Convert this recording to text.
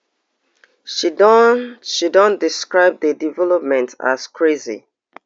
she don she don describe di development as crazy